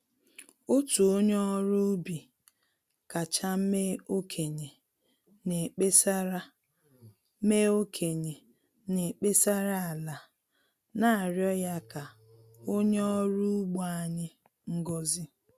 Otu onye ọrụ ubi kacha mee okenye na-ekpesara mee okenye na-ekpesara ala, na-arịọ ya ka o nye ọrụ ugbo anyị ngozị